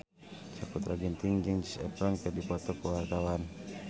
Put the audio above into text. Sakutra Ginting jeung Zac Efron keur dipoto ku wartawan